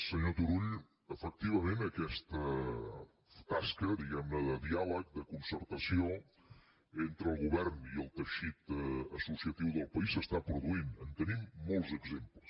senyor turull efectivament aquesta tasca diguem ne de diàleg de concertació entre el govern i el teixit associatiu del país s’està produint en tenim molts exemples